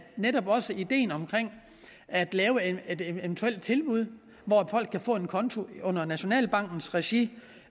netop også ideen om at lave et eventuelt tilbud hvor folk kan få en konto under nationalbankens regi